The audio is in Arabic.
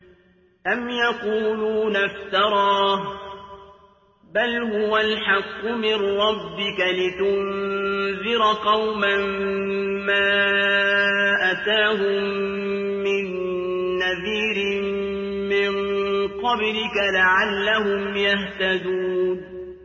أَمْ يَقُولُونَ افْتَرَاهُ ۚ بَلْ هُوَ الْحَقُّ مِن رَّبِّكَ لِتُنذِرَ قَوْمًا مَّا أَتَاهُم مِّن نَّذِيرٍ مِّن قَبْلِكَ لَعَلَّهُمْ يَهْتَدُونَ